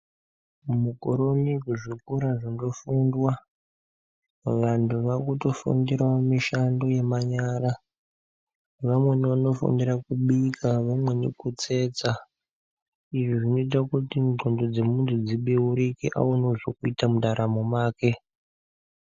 Mukuwo unowu kuzvikora zvofundwa ,Vantu vakutifundirawo mishando yemanyara . Vamweni vanofundira kubika vamweni kutsetsa .Izvi zvinoita kuti ndxondo dzemuntu dzibeurike awanewo zvekuita mundaramo make.